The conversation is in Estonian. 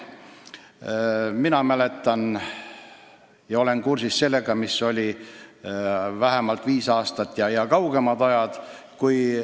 Mina olen kursis olukorraga, mis oli vähemalt viis aastat tagasi ja varemgi.